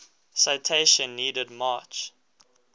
citation needed march